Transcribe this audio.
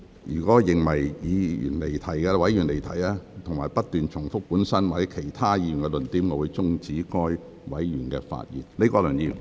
若我認為委員發言離題或不斷重複本身或其他議員的論點，我會終止該委員發言。